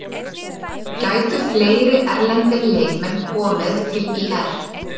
Gætu fleiri erlendir leikmenn komið til ÍR?